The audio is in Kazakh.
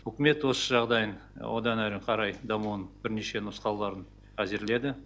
үкімет осы жағдайын одан әрі қарай дамуының бірнеше нұсқауларын әзірледі